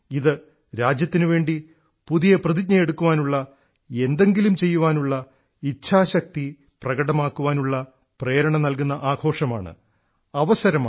ഇത് രാജ്യത്തിനുവേണ്ടി പുതിയ പ്രതിജ്ഞയെടുക്കുവാനുള്ള എന്തെങ്കിലും ചെയ്യുവാനുള്ള ഇച്ഛാശക്തി പ്രകടമാക്കാനുള്ള പ്രേരണ നല്കുന്ന ആഘോഷമാണ് അവസരമാണ്